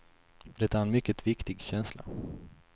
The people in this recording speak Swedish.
Det är en mycket viktig känsla.